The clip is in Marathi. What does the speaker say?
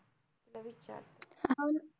तिला विचारते हा